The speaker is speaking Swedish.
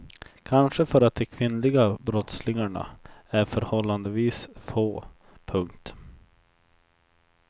Kanske för att de kvinnliga brottslingarna är förhållandevis få. punkt